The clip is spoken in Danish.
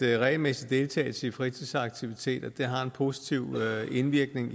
regelmæssig deltagelse i fritidsaktiviteter har en positiv indvirkning